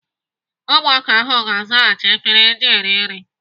Ụmụaka ahụ ga-azachasị efere eji rie nri.